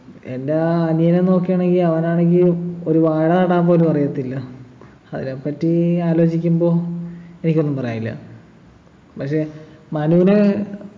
എൻ്റെ അനിയനെ നോക്കുകയാണെങ്കി അവനാണെങ്കി ഒരു വാഴ നടാൻ പോലും അറിയത്തില്ല അതിനെപ്പറ്റി ഈ ആലോചിക്കുമ്പം എനിക്കൊന്നും പറയാനില്ല പക്ഷെ മനുവിന്